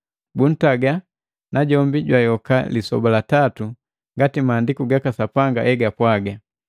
buntaga najombi jwayoka lisoba la tatu ngati Maandiku gaka Sapanga egapwaga,